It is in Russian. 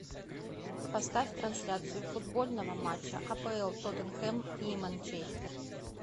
поставь трансляцию футбольного матча апл тоттенхэм и манчестер